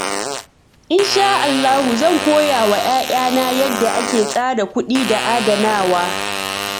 Insha Allah, zan koya wa ’ya’yana yadda ake tsara kuɗi da adanawa.